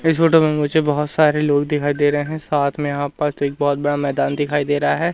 इस फोटो में मुझे बहुत सारे लोग दिखाई दे रहे हैं साथ में यहां पास एक बहुत बड़ा मैदान दिखाई दे रहा है।